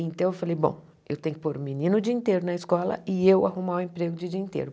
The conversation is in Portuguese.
Então eu falei, bom, eu tenho que pôr o menino o dia inteiro na escola e eu arrumar o emprego de dia inteiro.